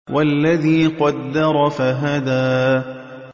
وَالَّذِي قَدَّرَ فَهَدَىٰ